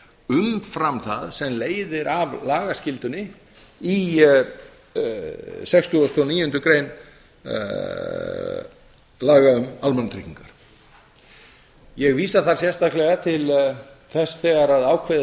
umfram það sem leiðir af lagaskyldunni í sextugasta og níundu grein laga um almannatryggingar ég vísa þar sérstaklega til þess þegar ákveðið